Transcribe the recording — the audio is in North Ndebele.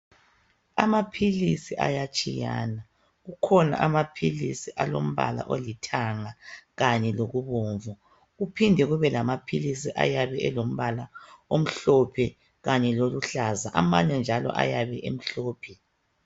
Amaphilisi ayatshiyana, kukhona amaphilisi alombala olithanga kanye lokubomvu, kuphinde kube lamaphilisi ayabe elombala omhlophe kanye loluhlaza, amanye njalo ayabe emhlophe.